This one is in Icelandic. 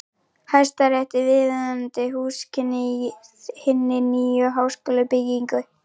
Hæstarétti viðunandi húsakynni í hinni nýju háskólabyggingu.